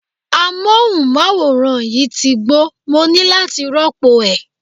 Amóhùnmáwòrán yìí ti gbó, mo ní láti rópò ẹ̀.